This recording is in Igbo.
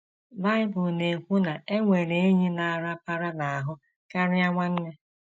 Bible na - ekwu na “ e nwere enyi na - arapara n’ahụ karịa nwanne. ”